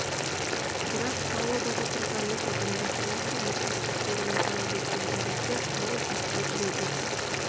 бірақ палубада тұрған ит адамдардың әбден мұқият тексеруін талап еткен тәрізді ауыз жаппай үре берді